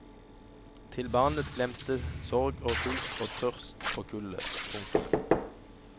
Til barnet glemte sorg og sult og tørst og kulde. punktum